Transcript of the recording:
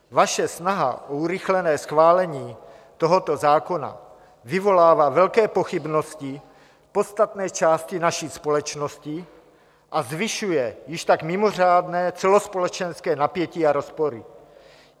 Vaše snaha o urychlené schválení tohoto zákona vyvolává velké pochybnosti v podstatné části naší společnosti a zvyšuje již tak mimořádné celospolečenské napětí a rozpory.